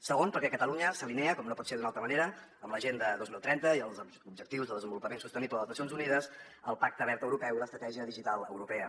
segon perquè catalunya s’alinea com no pot ser d’una altra manera amb l’agenda dos mil trenta i els objectius de desenvolupament sostenible de les nacions unides el pacte verd europeu i l’estratègia digital europea